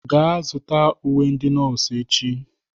Gaa zụta uwe ndị nọọsụ echi!